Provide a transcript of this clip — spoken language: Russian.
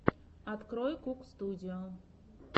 открой кук студио